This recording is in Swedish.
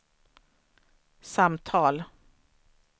samtal